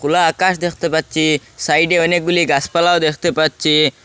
খোলা আকাশ দেখতে পাচ্ছি সাইডে অনেকগুলি গাছপালাও দেখতে পাচ্ছি।